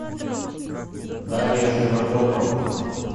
дарья широбокова